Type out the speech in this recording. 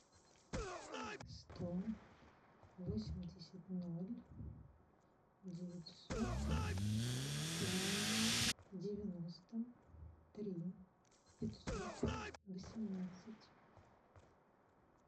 сто восемьдесят ноль девятьсот три девяносто три пятьсот восемнадцать